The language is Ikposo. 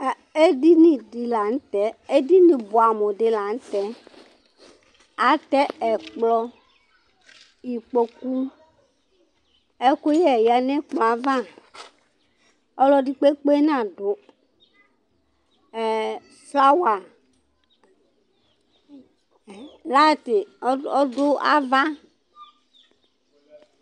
Edini di la ntɛ Edini bʋamu di la ntɛ Atɛ ɛkplɔ, ikpoku Ɛkʋyɛ ya nʋ ɛkplɔ ava Ɔlɔdi kpekpe nadu Flower, layiti ɔdu ava